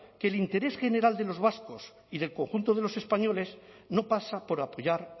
que el interés general de los vascos y del conjunto de los españoles no pasa por apoyar